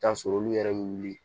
Taa sɔrɔ olu yɛrɛ bɛ wuli